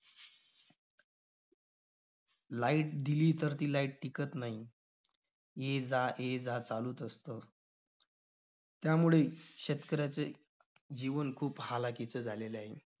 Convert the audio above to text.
light दिली तर ती light टिकत नाही. येजायेजा चालूच असतं. त्यामुळे शेतकऱ्याचे जीवन खूप हालाखीचं झालेलं आहे.